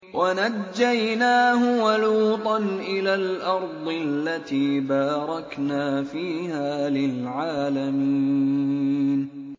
وَنَجَّيْنَاهُ وَلُوطًا إِلَى الْأَرْضِ الَّتِي بَارَكْنَا فِيهَا لِلْعَالَمِينَ